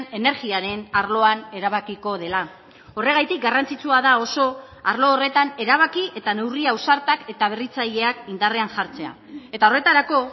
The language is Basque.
energiaren arloan erabakiko dela horregatik garrantzitsua da oso arlo horretan erabaki eta neurri ausartak eta berritzaileak indarrean jartzea eta horretarako